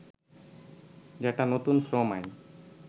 যেটা নতুন শ্রম আইন